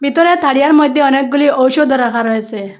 ভিতরে তারিয়ার মোইদ্দে অনেকগুলি ঔষদ রাখা রয়েছে।